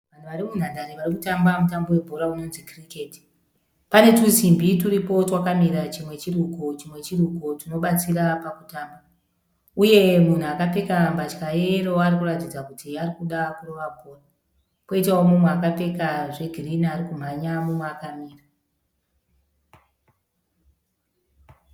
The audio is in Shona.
Vanhu vari munhandare vari kutamba mutambo webhora unonzi kiriketi. Pane tusimbi turipo twakamira chimwe chiri uko chimwe chiri uko tunobatsira pakutamba. Uye munhu akapfeka mbatya yeyero ari kuratidza kuti ari kuda kurova bhora. Poitawo mumwe akapfeka zvegirini ari kumhanya mumwe akamira.